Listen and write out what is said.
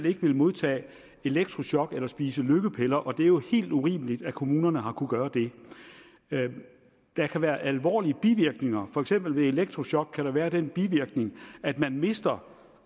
ikke ville modtage elektrochok eller spise lykkepiller og det er jo helt urimeligt at kommunerne har kunnet gøre det der kan være alvorlige bivirkninger der for eksempel ved elektrochok være den bivirkning at man mister